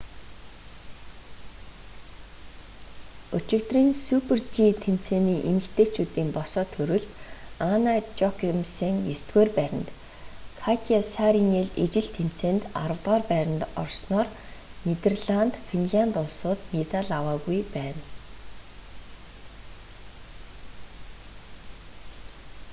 өчигдрийн супер-жи тэмцээний эмэгтэйчүүдийн босоо төрөлд анна жохемсен есдүгээр байранд катя сааринен ижил тэмцээнд аравдугаар байранд орсноор нидерланд финлянд улсууд медаль аваагүй байна